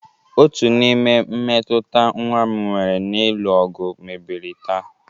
Otu n'ime mmetụta nwa m nwere n'ịlụ ọgụ mebiri taa